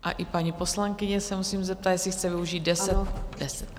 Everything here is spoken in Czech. A i paní poslankyně se musím zeptat, jestli chce využít deset minut.